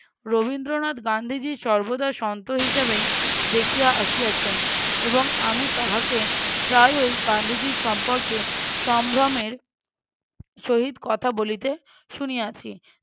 রবীন্দ্রনাথ গান্ধীজীর সর্বদা সন্ত হিসেবেই দেখিয়া আসিয়াছেন এবং আমি তাহাকে প্রায়ওই গান্ধীজী সম্পর্কে সম্ভ্রমের সহিত কথা বলিতে শুনিয়াছি।